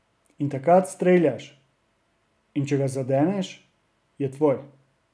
In takrat streljaš, in če ga zadeneš, je tvoj.